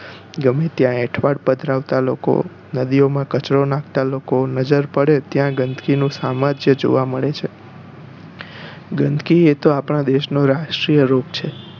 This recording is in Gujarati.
ગમે ત્યાં એઠવાડ પથરાવતા લોકો નદીઓ માં કચરો નાંખતા લોકો નજર પડે ત્યાં ગંદકી નો સામ્રાજ્ય જોવા મળે છે ગંદકી એ તો આપણા દેશ નો રાષ્ટ્રીય રોગ છે